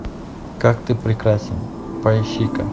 как ты прекрасен поищи ка